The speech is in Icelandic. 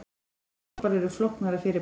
Regndropar eru flóknara fyrirbæri.